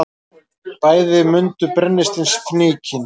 Bæði mundu brennisteinsfnykinn.